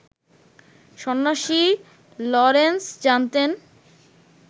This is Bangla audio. সন্ন্যাসী লরেন্স জানতেন